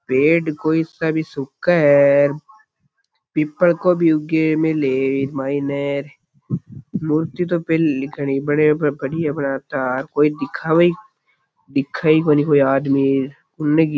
पेड़ कोई सा भी सूखा है पीपल को भी उगे न लेर मायने र कोई दिखावे कोई दिखे ही कोनी कोई आदमी उन --